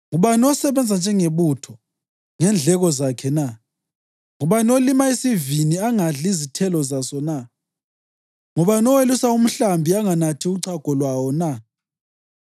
Ngubani osebenza njengebutho ngendleko zakhe na? Ngubani olima isivini angadli izithelo zaso na? Ngubani owelusa umhlambi anganathi uchago lwawo na?